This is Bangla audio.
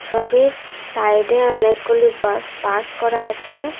ছবির সাইডে অনেকগুলি বাস পার্ক করা আছে।